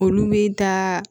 Olu bɛ taa